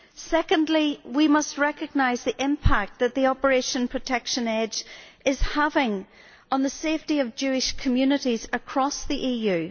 Secondly, we must recognise the impact that Operation Protective Edge is having on the safety of Jewish communities across the EU.